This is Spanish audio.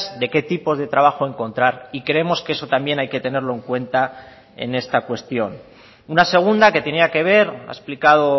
de qué tipos de trabajo encontrar y creemos que eso también hay que tenerlo en cuenta en esta cuestión una segunda que tenía que ver ha explicado